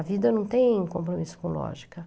A vida não tem compromisso com lógica.